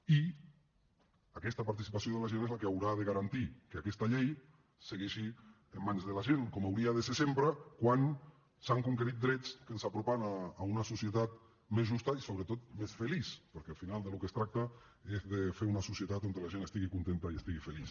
i aquesta participació de la gent és la que haurà de garantir que aquesta llei segueixi en mans de la gent com hauria de ser sempre quan s’han conquerit drets que ens apropen a una societat més justa i sobretot més feliç perquè al final del que es tracta és de fer una societat on la gent estigui contenta i estigui feliç